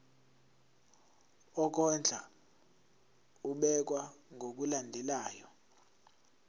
wokondla ubekwa ngokulandlela